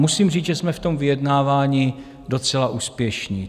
Musím říct, že jsme v tom vyjednávání docela úspěšní.